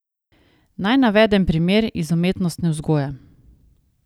Naj navedem primer iz umetnostne vzgoje.